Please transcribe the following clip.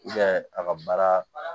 a ka baara